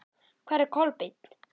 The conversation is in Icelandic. Hvar er Kolbeinn?